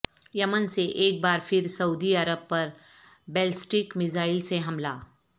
یمن سے ایک بار پھر سعودی عرب پر بیلسٹک میزائل سے حملہ